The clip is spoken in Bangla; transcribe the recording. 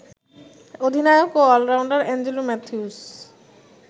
অধিনায়ক ও অলরাউন্ডার অ্যাঞ্জেলো ম্যাথিউস